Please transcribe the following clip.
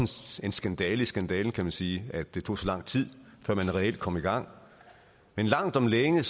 en skandale i skandalen kan man sige at det tog så lang tid før man reelt kom i gang men langt om længe